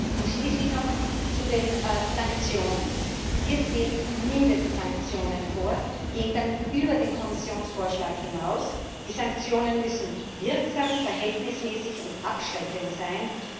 Und schließlich noch zu den Sanktionen Wir sehen Mindestsanktionen vor und gehen damit über den Kommissionsvorschlag hinaus. Die Sanktionen müssen wirksam, verhältnismäßig und abschreckend sein.